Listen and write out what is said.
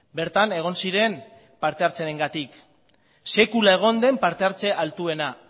bertan egon ziren partehartzearengatik sekula egon den parte hartze altuena